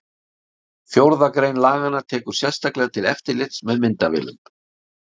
fjórða grein laganna tekur sérstaklega til eftirlits með myndavélum